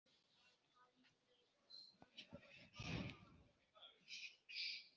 Bið að heilsa.